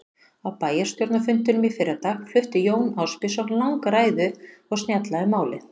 Á bæjarstjórnarfundinum í fyrradag flutti Jón Ásbjörnsson langa ræðu og snjalla um málið.